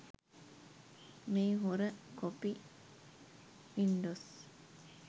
මේ හොර copy Windows